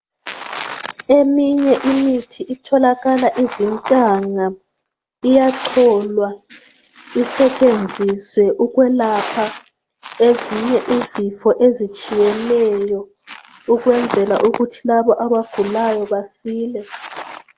Eminye imithi itholakala izintanga iyacholwa isetshenziswe ukwelapha ezinye izifo ezitshiyeneyo ukwenzela ukuthi labo abagulayo basile